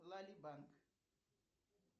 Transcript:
лали банк